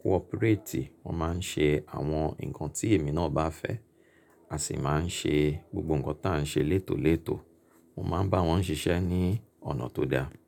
cooperate. Wọ́n máa ń ṣe àwọn nǹkan tí èmi náà bá fẹ́, a sì máa ń ṣe gbogbo nǹkan tí à ń ṣe létòlètò. Mo máa ń bá wọn ṣiṣẹ́ ní ọ̀nà tó da.